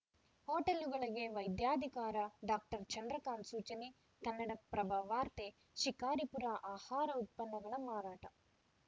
ಹೋಟೆಲ್‌ಗಳಿಗೆ ವೈದ್ಯಾಧಿಕಾರ ಡಾಕ್ಟರ್ ಚಂದ್ರಕಾಂತ್‌ ಸೂಚನೆ ಕನ್ನಡಪ್ರಭ ವಾರ್ತೆ ಶಿಕಾರಿಪುರ ಆಹಾರ ಉತ್ಪನ್ನಗಳ ಮಾರಾಟ